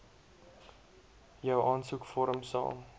jou aansoekvorm sal